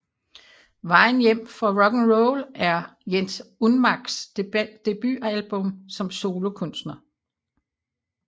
Vejen hjem fra rocknroll er Jens Unmacks debutalbum som solokunstner